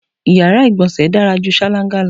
Iyàrá ìgbọ̀nsẹ̀ dára ju ṣáláńgá lọ.